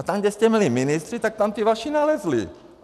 A tam, kde jste měli ministry, tak tam ti vaši nalezli.